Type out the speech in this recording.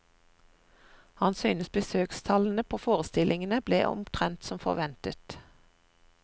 Han synes besøkstallene på forestillingene ble omtrent som forventet.